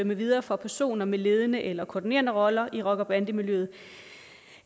med videre fra personer med ledende eller koordinerende roller i rocker bande miljøet